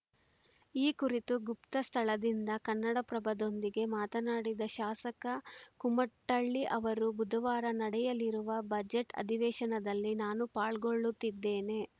ಈ ಕುರಿತು ಗುಪ್ತ ಸ್ಥಳದಿಂದ ಕನ್ನಡಪ್ರಭದೊಂದಿಗೆ ಮಾತನಾಡಿದ ಶಾಸಕ ಕುಮಟಳ್ಳಿ ಅವರು ಬುಧವಾರ ನಡೆಯಲಿರುವ ಬಜೆಟ್‌ ಅಧಿವೇಶನದಲ್ಲಿ ನಾನು ಪಾಲ್ಗೊಳ್ಳುತ್ತಿದ್ದೇನೆ